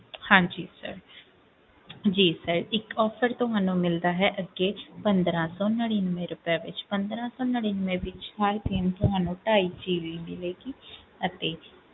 ਹਾਂਜੀ sir ਜੀ sir ਇੱਕ offer ਤੁਹਾਨੂੰ ਮਿਲਦਾ ਹੈ ਅੱਗੇ ਪੰਦਰਾਂ ਸੌ ਨੜ੍ਹਿਨਵੇਂ ਰੁਪਏ ਵਿੱਚ ਪੰਦਰਾਂ ਸੌ ਨੜ੍ਹਿਨਵੇਂ ਵਿੱਚ ਹਰ ਦਿਨ ਤੁਹਾਨੂੰ ਢਾਈ GB ਮਿਲੇਗੀ ਅਤੇ,